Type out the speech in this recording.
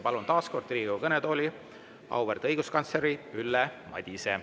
Palun taas kord Riigikogu kõnetooli auväärt õiguskantsleri Ülle Madise.